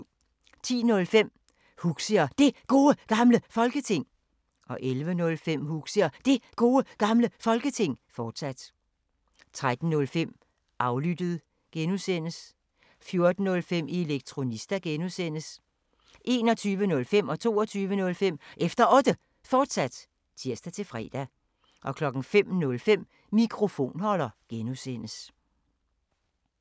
10:05: Huxi og Det Gode Gamle Folketing 11:05: Huxi og Det Gode Gamle Folketing, fortsat 13:05: Aflyttet G) 14:05: Elektronista (G) 21:05: Efter Otte, fortsat (tir-fre) 22:05: Efter Otte, fortsat (tir-fre) 05:05: Mikrofonholder (G)